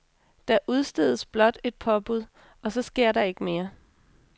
Der udstedes blot et påbud, og så sker der ikke mere.